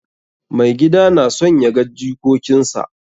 Maigida na son ya ga jikokinsa.